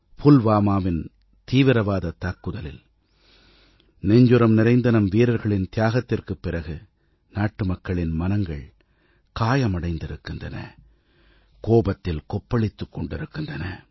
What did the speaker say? புல்வாமாவின் தீவிரவாதத் தாக்குதலில் நெஞ்சுரம் நிறைந்த நம் வீரர்களின் தியாகத்திற்குப் பிறகு நாட்டுமக்களின் மனங்கள் காயமடைந்திருக்கின்றன கோபத்தில் கொப்பளித்துக் கொண்டிருக்கின்றன